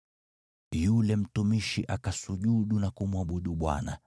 Yule mtumishi akasujudu na kumwabudu Bwana ,